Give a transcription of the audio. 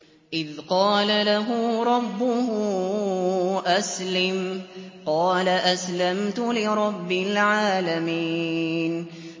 إِذْ قَالَ لَهُ رَبُّهُ أَسْلِمْ ۖ قَالَ أَسْلَمْتُ لِرَبِّ الْعَالَمِينَ